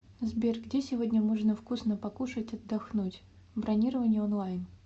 сбер где сегодня можно вкусно покушать отдохнуть бронирование онлайн